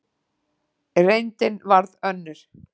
Reyndin varð önnur.